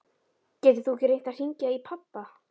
Getur þú ekki reynt að hringja í pabba?